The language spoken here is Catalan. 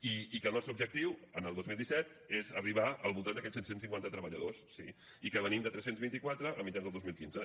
i que el nostre objectiu el dos mil disset és arribar al voltant d’aquests set cents i cinquanta treballadors sí i que venim de tres cents i vint quatre a mitjans del dos mil quinze